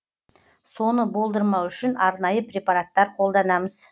соны болдырмау үшін арнайы препараттар қолданамыз